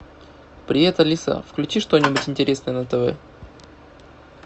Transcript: привет алиса включи что нибудь интересное на тв